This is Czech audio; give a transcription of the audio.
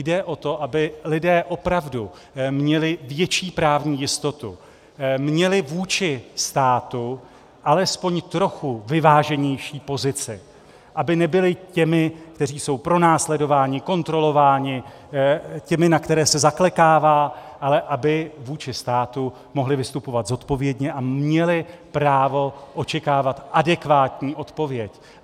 Jde o to, aby lidé opravdu měli větší právní jistotu, měli vůči státu alespoň trochu vyváženější pozici, aby nebyli těmi, kteří jsou pronásledováni, kontrolováni, těmi, na které se zaklekává, ale aby vůči státu mohli vystupovat zodpovědně a měli právo očekávat adekvátní odpověď.